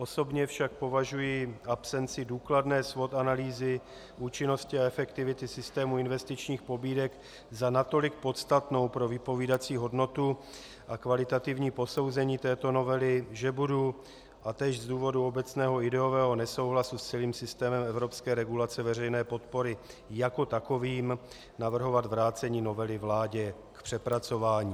Osobně však považuji absenci důkladné SWOT analýzy, účinnosti a efektivity systému investičních pobídek za natolik podstatnou pro vypovídací hodnotu a kvalitativní posouzení této novely, že budu - a též z důvodu obecného ideového nesouhlasu s celým systémem evropské regulace veřejné podpory jako takovým - navrhovat vrácení novely vládě k přepracování.